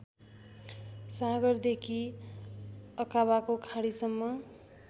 सागरदेखि अकाबाको खाडीसम्म